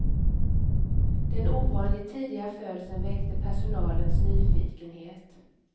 Den ovanligt tidiga födseln väckte personalens nyfikenhet.